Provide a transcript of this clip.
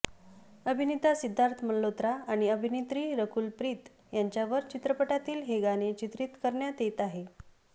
अभिनेता सिद्धार्थ मल्होत्रा आणि अभिनेत्री रकुल प्रीत यांच्यावर चित्रपटातील हे गाणे चित्रित करण्यात येत आहे